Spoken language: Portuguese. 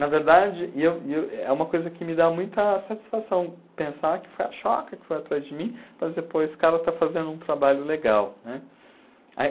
Na verdade, e eu e eu é uma coisa que me dá muita satisfação pensar que foi a choca que foi atrás de mim, para dizer pô, esse cara está fazendo um trabalho legal, né? Aí,